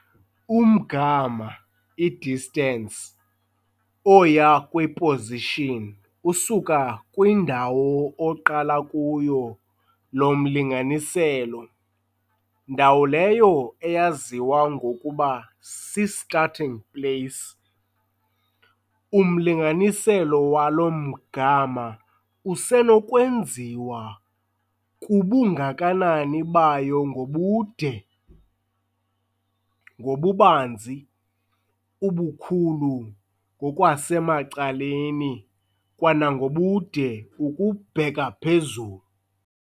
Umgama, i-distance, oya kwi-position usuka kwindawo oqala kuyo lo mlinganiselo, ndawo leyo eyaziwa ngokuba si-starting place. Umlinganiselo walo mgama usenokwenziwa kubungakanani bayo ngobude, ngobubanzi, ubukhulu ngokwasemacaleni kwanangobude ukubheka phezulu.